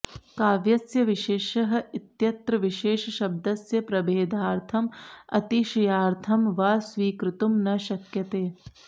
काव्यस्य विशेषः इत्यत्र विशेषशब्दस्य प्रभेदार्थम् अतिशयार्थं वा स्वीकर्तुं न शक्यते